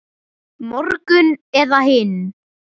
Morgun eða hinn.